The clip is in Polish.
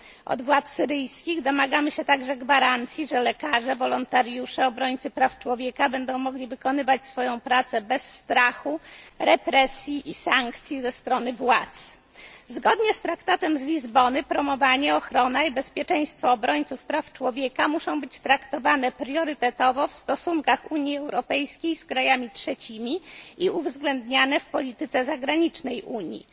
Domagamy się także od władz syryjskich gwarancji, że lekarze, wolontariusze, obrońcy praw człowieka będą mogli wykonywać swoją pracę bez strachu, represji i sankcji ze strony władz. Zgodnie z Traktatem z Lizbony promowanie, ochrona i bezpieczeństwo obrońców praw człowieka muszą być traktowane priorytetowo w stosunkach Unii Europejskiej z krajami trzecimi i uwzględniane w polityce zagranicznej Unii.